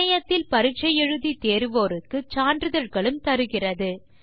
இணையத்தில் பரிட்சை எழுதி தேர்வோருக்கு சான்றிதழ்களும் தருகிறது